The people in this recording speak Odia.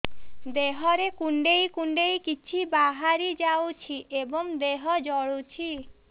ଦେହରେ କୁଣ୍ଡେଇ କୁଣ୍ଡେଇ କିଛି ବାହାରି ଯାଉଛି ଏବଂ ଦେହ ଜଳୁଛି